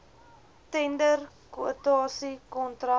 tender kwotasie kontrak